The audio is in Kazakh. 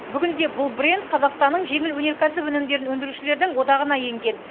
бүгінде бұл бренд қазақстанның жеңіл өнеркәсіп өнімдерін өндірушілердің одағына енген